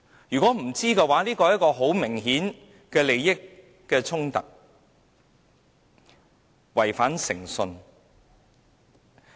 如果他們不知情，這很明顯涉及利益衝突，有人違反誠信。